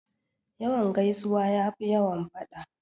Yawan gaisuwa ya fi yawan faɗa.